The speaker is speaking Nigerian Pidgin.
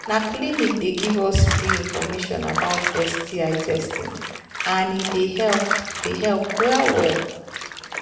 na clinic they give us free information about sti testing and he they help they help well well